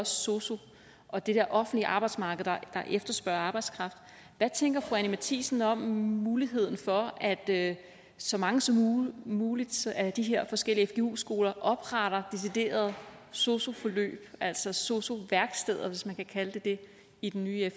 sosu og det offentlige arbejdsmarked der efterspørger arbejdskraft hvad tænker fru anni matthiesen om muligheden for at så mange som muligt af de her forskellige fgu skoler opretter deciderede sosu forløb altså sosu værksteder hvis man kan kalde dem det i den nye